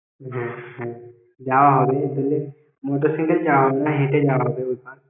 হ্যাঁ হ্যাঁ যাওয়া হবে এই জন্যে motorcycle যাওয়া যাবে না হেঁটে যাওয়া হবে ওইপার